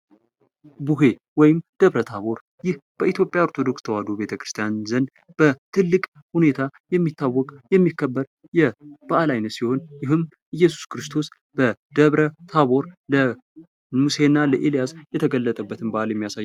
ቡሄ ወይን ድብረታቦር በኢትዮጵያ ኦርቶዶክስ ተዋህዶ ቤተክርስያን ዘንድ በትልቅ ሁኔታ የሚታወቅ የሚከበር የበዓል አይነት ሲሆን ኢየሱስ ክርስቶስ በታቦር ለሙሴ እና ለኤልያስ የተገለጠበትን በዓል የሚያሳይ ነው።